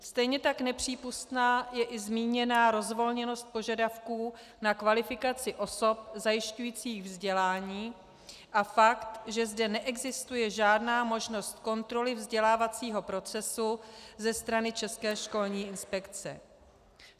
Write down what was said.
Stejně tak nepřípustná je i zmíněná rozvolněnost požadavků na kvalifikaci osob zajišťujících vzdělání a fakt, že zde neexistuje žádná možnost kontroly vzdělávacího procesu ze strany České školní inspekce.